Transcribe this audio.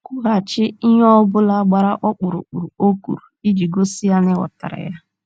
Kwughachi ihe ọ bụla gbara ọkpụrụkpụ o kwuru iji gosi ya na ị ghọtara ya.